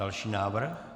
Další návrh?